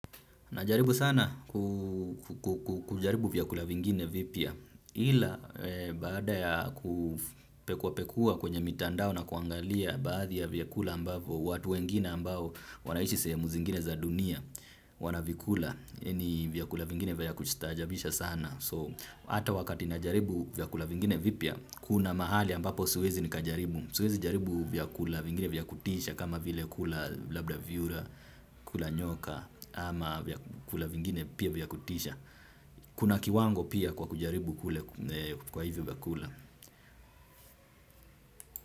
Najaribu sana kujaribu vyakula vingine vipya ila baada ya kupekua pekua kwenye mitandao na kuangalia baadhi ya vyakula ambavo watu wengine ambao wanaishi sehemu zingine za dunia wanavikula ni vyakula vingine vya kustaajabisha sana. So, hata wakati najaribu vyakula vingine vipya, kuna mahali ambapo siwezi nikajaribu. Siwezi jaribu vyakula vingine vya kutisha kama vile kula labda vyura, kula nyoka, ama vyakula vingine pia vya kutisha. Kuna kiwango pia kwa kujaribu kwa hivyo vyakula.